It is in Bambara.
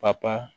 Papa